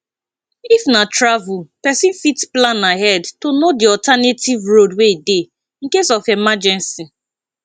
if na travel person fit plan ahead to know di alternative road wey dey in case of emergency